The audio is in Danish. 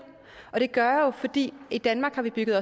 og det gør jeg jo fordi i danmark har vi bygget